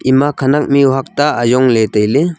ema khanak mihuak ta ayongley tailey.